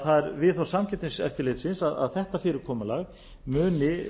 það er því viðhorf samkeppniseftirlitsins að árétta fyrirkomulag muni